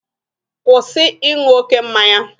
Kwụsị ịṅụ oke mmanya!